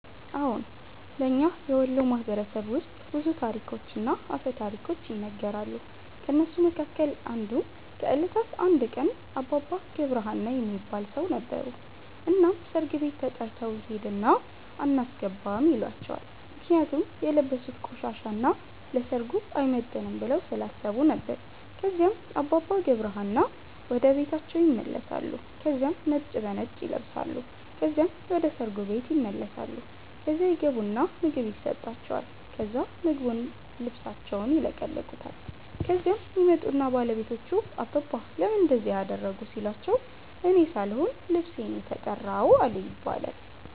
አዎን። በእኛ የወሎ ማህበረሰብ ውስጥ ብዙ ታሪኮችና አፈ ታሪኮች ይነገራሉ። ከእነሱ መካከል አንዱ ከእለታት አንድ ቀን አባባ ገብረ ሀና የሚባል ሠው ነበሩ። እናም ሠርግ ቤት ተተርተው ይሄድና አናስገባም ይሏቸዋል ምክንያቱም የለበሡት ቆሻሻ እና ለሠርጉ አይመጥንም ብለው ስላሠቡ ነበር። ከዚያም አባባ ገብረ ሀና ወደ ቤታቸው ይመለሳሉ ከዚያም ነጭ በነጭ ይለብሳሉ ከዚያም ወደ ሠርጉ ቤት ይመለሳሉ። ከዚያ ይገቡና ምግብ የሠጣቸዋል ከዛ ምግቡን ልብሣቸውን ይለቀልቁታል። ከዚያም ይመጡና ባለቤቶቹ አባባ ለምን እንደዚህ አደረጉ ሲሏቸው እኔ ሣልሆን ልብሤ ነው የተራው አሉ ይባላል።